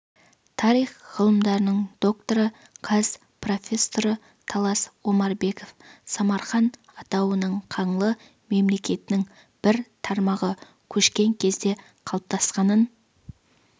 тарих ғылымдарының докторы қаз профессоры талас омарбеков самарқан атауының қаңлы мемлекетінің бір тармағы көшкен кезде қалыптасқанын